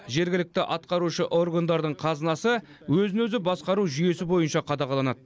жергілікті атқарушы органдардың қазынасы өзін өзі басқару жүйесі бойынша қадағаланады